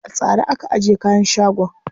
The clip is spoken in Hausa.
A tsare aka ajiye kayan shagon.